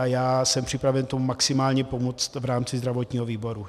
A já jsem připraven tomu maximálně pomoci v rámci zdravotního výboru.